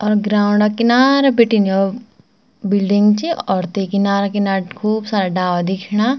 और ग्राउंड क किनारा बीटिन यौ बिल्डिंग च और ते किनारा-किनारा खूब सारा डाला दिखेणा।